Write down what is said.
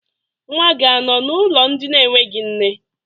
Nwa gị anọ n'ụlọ ndị enweghi nne?